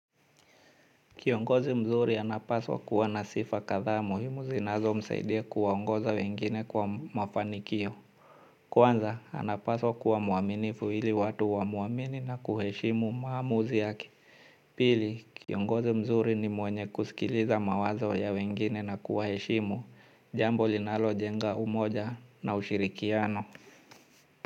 Kiongozi mzuri anapaswa kuwa na sifa kadhaa muhimu zinazomsaidia kuwaongoza wengine kwa mafanikio. Kwanza, anapaswa kuwa mwaminifu ili watu wamuamini na kuheshimu maamuzi yake. Pili, kiongozi mzuri ni mwenye kusikiliza mawazo ya wengine na kuwaheshimu. Jambo linalojenga umoja na ushirikiano.